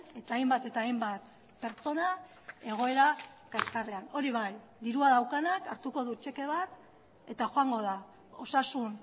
eta hainbat eta hainbat pertsona egoera kaxkarrean hori bai dirua daukanak hartuko du txeke bat eta joango da osasun